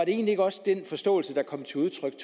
egentlig ikke også den forståelse der kom til udtryk